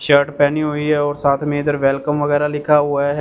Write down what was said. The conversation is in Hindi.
शर्ट पहनी हुई है और साथ में इधर वेल कम वगैरा लिखा हुआ हैं।